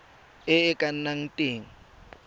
e e ka nnang teng